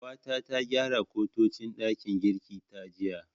Babata ta gyara kantocin ɗakin girkin ta jiya.